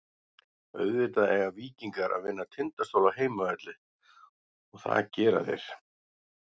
Auðvitað eiga Víkingar að vinna Tindastól á heimavelli og það gera þeir.